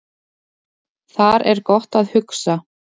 Þar er gott að hugsa